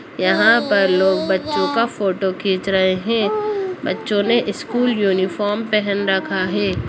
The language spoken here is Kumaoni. यहां पर लोग बच्चों का फोटो खींच रहे हैं बच्चों ने स्कूल यूनिफॉर्म पहन रखा है।